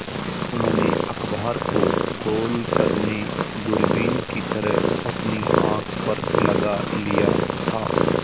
उन्होंने अखबार को गोल करने दूरबीन की तरह अपनी आँख पर लगा लिया था